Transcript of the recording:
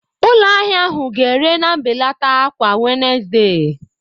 Ụlọ ahịa ahụ ga-ere na mbelata kwa Wednesde.